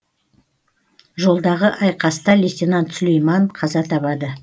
жолдағы айқаста лейтенант сүлейман қаза табады